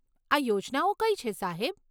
આ યોજનાઓ કઈ છે, સાહેબ?